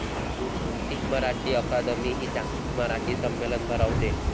जागतिक मराठी अकादमी हि 'जागतिक मराठी संमेलन' भरवते.